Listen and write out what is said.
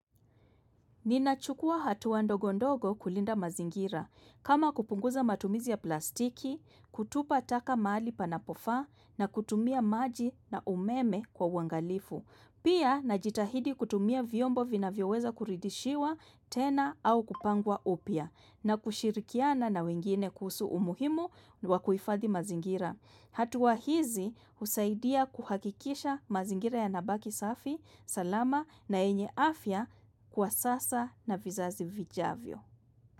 Ninachukua hatua ndogo ndogo kulinda mazingira. Kama kupunguza matumizi ya plastiki, kutupa taka mali panapofaa na kutumia maji na umeme kwa uwangalifu. Pia najitahidi kutumia vyombo vinavyoweza kuridishiwa tena au kupangwa upya na kushirikiana na wengine kuhusu umuhimu wa kuifadhi mazingira. Hatua hizi husaidia kuhakikisha mazingira yanabaki safi, salama na yenye afya kwa sasa na vizazi vijavyo.